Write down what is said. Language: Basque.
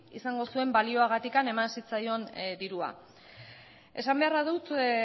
izango zuen baliogatik eman zitzaion dirua esan beharra dut